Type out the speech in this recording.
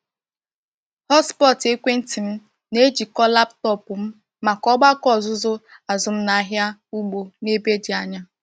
Hotspot ekwenti m na-ejikọ laptọọpụ m maka ọgbakọ ọzụzụ azụmahịa ugbo n'ebe dị anya.